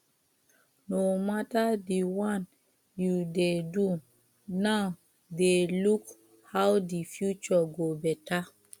no matter di one you dey do now de look how di future go better